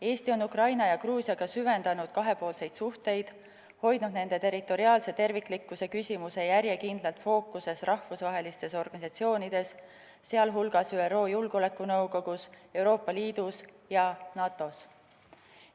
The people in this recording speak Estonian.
Eesti on süvendanud Ukraina ja Gruusiaga kahepoolseid suhteid ning hoidnud nende territoriaalse terviklikkuse küsimuse järjekindlalt fookuses rahvusvahelistes organisatsioonides, sh ÜRO Julgeolekunõukogus, Euroopa Liidus ja NATO-s.